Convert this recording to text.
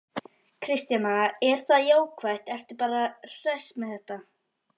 Kristjana: Er það jákvætt, ertu bara hress með þetta?